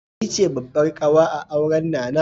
Ni ce babbar ƙawa a auran Nana.